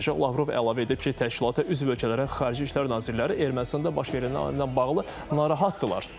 Lavrov əlavə edib ki, təşkilata üzv ölkələrin xarici işlər nazirləri Ermənistanda baş verənlə bağlı narahatdırlar.